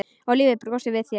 Og lífið brosir við þér!